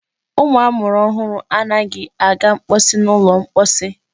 Ụmụ amụrụ ọhụrụ anaghị aga mposi n'ụlọ mposi.